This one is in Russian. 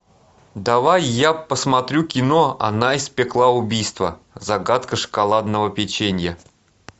давай я посмотрю кино она испекла убийство загадка шоколадного печенья